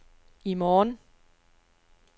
i morgen